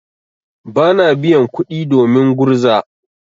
Bana biyan kuɗi domin gurza.